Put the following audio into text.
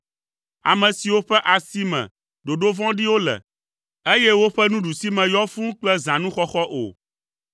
ame siwo ƒe asi me ɖoɖo vɔ̃ɖiwo le, eye woƒe nuɖusime yɔ fũu kple zãnuxɔxɔ o.